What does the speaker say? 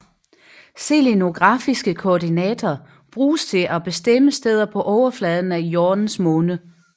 Selenografiske koordinater bruges til at bestemme steder på overfladen af Jordens måne